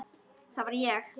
Það var ég!